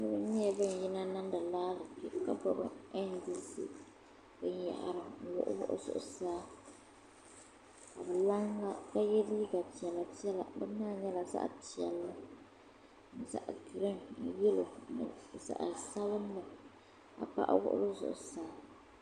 Niriba nyɛla bin yina niŋdi raali Kpe ka gbubi NDC bin yahari n wuɣi wuɣi zuɣusaa ka laɣim na bi yɛ liiga piɛla piɛla bini maa nyɛla zaɣa piɛlli zaɣa giriin ni yɛlo ni zaɣa sabinli ka paɣa wuɣi li zuɣusaa.